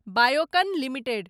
Biocon limited